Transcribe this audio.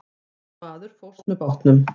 Einn maður fórst með bátnum.